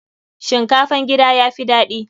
Shinkafan gida ya fi daɗi.